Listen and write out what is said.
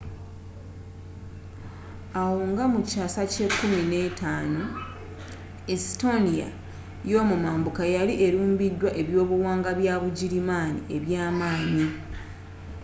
awo nga mukyaasa kya 15th estonia eyomumambuka yali elumbiddwa ebyobuwangwa byabugirimaani ebyamanyi